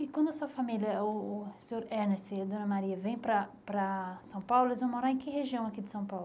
E quando a sua família, o o senhor Ernest e a dona Maria, vêm para para São Paulo, eles vão morar em que região aqui de São Paulo?